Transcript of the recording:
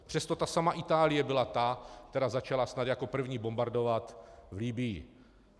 Přesto ta samá Itálie byla ta, která začala snad jako první bombardovat v Libyi.